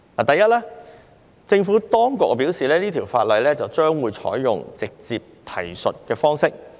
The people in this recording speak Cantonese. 第一，政府當局表示，《條例草案》會採用直接提述的方式。